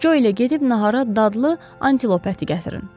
Jo ilə gedib nahara dadlı antilop əti gətirin.